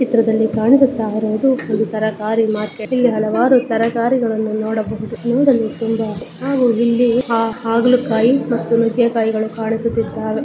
ಈ ಚಿತ್ರದಲ್ಲಿ ಕಾಣಿಸುತ್ತಾ ಇರುವುದು ಒಂದು ತರಕಾರಿ ಮಾರ್ಕೆಟ್ ಇಲ್ಲಿ ಹಲವಾರು ತರಕಾರಿಗಳನ್ನು ನೋಡಬಹುದು ನೋಡಲು ತುಂಬಾ ಹಾಗು ಇಲ್ಲಿ ಹಾಗಲಕಾಯಿ ಮತ್ತು ನುಗ್ಗೆಕಾಯಿಗಳು ಕಾಣಿಸುತ್ತ ಇದ್ದವೇ.